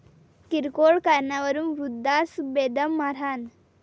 किरकोळ कारणावरून वृद्धास बेदम मारहाण